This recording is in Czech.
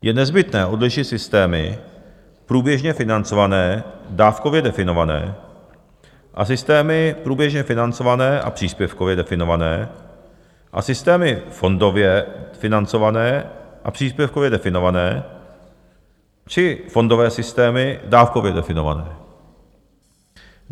Je nezbytné odlišit systémy průběžně financované, dávkově definované a systémy průběžně financované a příspěvkově definované a systémy fondově financované a příspěvkově definované či fondové systémy dávkově definované.